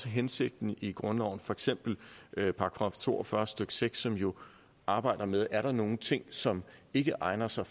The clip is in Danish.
hensigten i grundloven for eksempel nævne § to og fyrre stykke seks som jo arbejder med er nogen ting som ikke egner sig